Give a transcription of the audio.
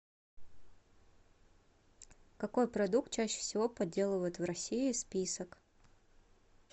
какой продукт чаще всего подделывают в россии список